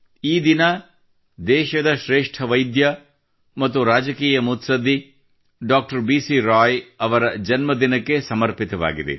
ಈ ದಿನವನ್ನು ದೇಶದ ಶ್ರೇಷ್ಠ ವೈದ್ಯ ಮತ್ತು ರಾಜಕಾರಣೆ ಡಾಕ್ಟರ್ ಬಿಸಿ ರಾಯ್ ಅವರ ಜನ್ಮ ಜಯಂತಿಗೆ ಸಮರ್ಪಿಸಲಾಗುತ್ತದೆ